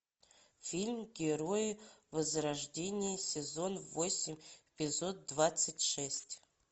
фильм герои возрождения сезон восемь эпизод двадцать шесть